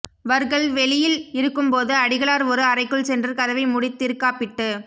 வர்கள் வெளியில் இருக்கும்போது அடிகளார் ஒரு அறைக்குள் சென்று கதவை மூடி திருகாப்பிட்டு